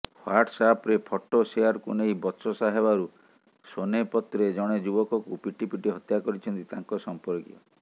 ହ୍ବାଟ୍ସଆପ୍ରେ photo ସେୟାରକୁ ନେଇ ବଚସା ହେବାରୁ ସୋନେପତ୍ରେ ଜଣେ ଯୁବକଙ୍କୁ ପିଟିପିଟି ହତ୍ୟା କରିଛନ୍ତି ତାଙ୍କ ସମ୍ପର୍କୀୟ